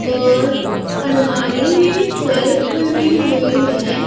और अलमारी में सेल्फ बनी हुई है।